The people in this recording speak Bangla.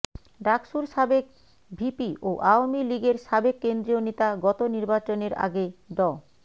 ডাকসুর সাবেক ভিপি ও আওয়ামী লীগের সাবেক কেন্দ্রীয় নেতা গত নির্বাচনের আগে ড